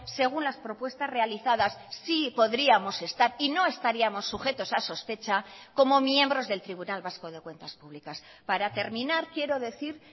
según las propuestas realizadas sí podríamos estar y no estaríamos sujetos a sospecha como miembros del tribunal vasco de cuentas públicas para terminar quiero decir